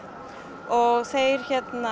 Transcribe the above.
og þeir